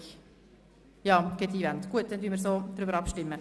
Wir beginnen mit Traktandum